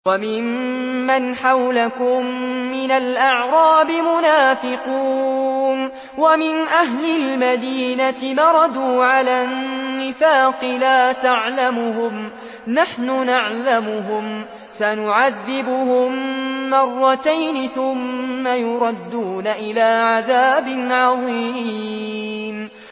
وَمِمَّنْ حَوْلَكُم مِّنَ الْأَعْرَابِ مُنَافِقُونَ ۖ وَمِنْ أَهْلِ الْمَدِينَةِ ۖ مَرَدُوا عَلَى النِّفَاقِ لَا تَعْلَمُهُمْ ۖ نَحْنُ نَعْلَمُهُمْ ۚ سَنُعَذِّبُهُم مَّرَّتَيْنِ ثُمَّ يُرَدُّونَ إِلَىٰ عَذَابٍ عَظِيمٍ